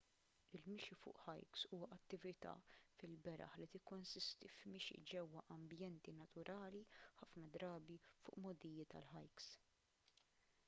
il-mixi fuq hikes huwa attività fil-beraħ li tikkonsisti f'mixi ġewwa ambjenti naturali ħafna drabi fuq mogħdijiet għall-hikes